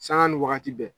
Sanga ni wagati bɛɛ